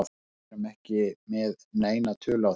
Við erum ekki með neina tölu á þessu.